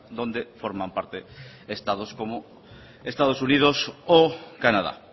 donde forman parte estados como estados unidos o canadá